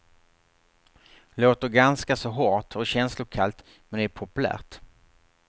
Låter ganska så hårt och känslokallt men det är populärt.